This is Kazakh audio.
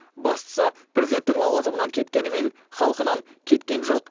бастысы президенттік лауазымынан кеткенімен халқынан кеткен жоқ